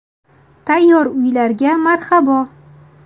Tayyor uylarga marhabo .